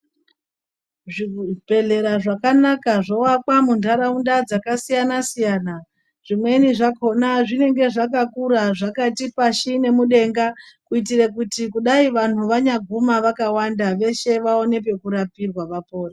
Zvibhedhlera zvakanaka zvoakwa muntaraunda dzakasiyana -siyana, zvimweni zvakhona zvinenge zvakakura zvakati pashi nemudenga kuitire kuti kudai vantu vanyaguma vakawanda veshe vaone pekurapirwa vapore.